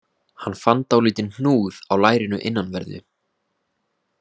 Hann fann dálítinn hnúð á lærinu innanverðu